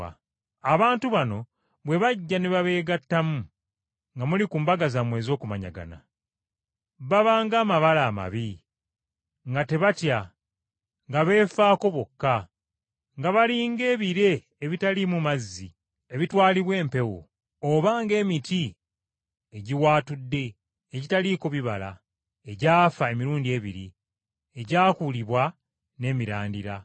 Abantu bano bwe bajja ne babeegattamu nga muli ku mbaga zammwe ez’okumanyagana, baba ng’amabala amabi, nga tebatya, nga beefaako bokka, nga bali ng’ebire ebitaliimu mazzi ebitwalibwa empewo; oba ng’emiti egiwaatudde, egitaliiko bibala, egyafa emirundi ebiri, egyakuulibwa n’emirandira;